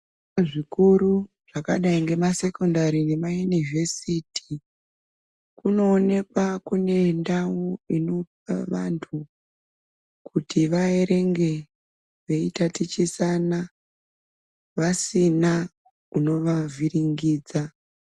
Zvikora zvikuru zvakadai nemasekondari nemayunivhesiti kunoonekwa kune ndawu inopa vantu kuti vaerenge veitatichisana vasina unovavhiringidza.